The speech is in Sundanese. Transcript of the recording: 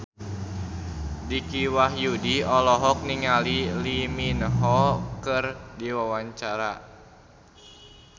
Dicky Wahyudi olohok ningali Lee Min Ho keur diwawancara